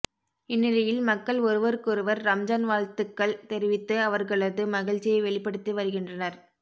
இந்நிலையில் மக்கள் ஒருவருக்கொருவர் ரம்ஜான் வாழ்ந்த்துக்கள் தெரிவித்து அவர்களது மகிழ்ச்சியை வெளிப்படுத்தி வருகின்றனர்